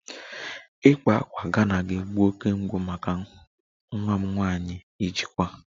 Ịkpa ákwà Ghana ga-egbu oke mgbu maka nwa m nwanyị ijikwa